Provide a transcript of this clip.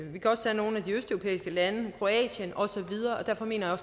vi kan også tage nogle af de østeuropæiske lande kroatien og så videre derfor mener